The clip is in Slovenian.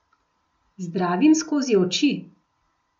Zdravim skozi oči.